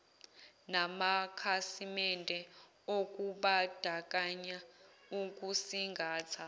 namakhasimende okubandakanya ukusingatha